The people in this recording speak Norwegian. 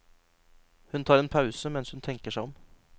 Hun tar en pause mens hun tenker seg om.